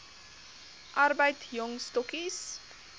arbeid jong stokkies